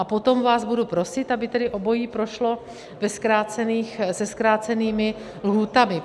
A potom vás bude prosit, aby tedy obojí prošlo se zkrácenými lhůtami.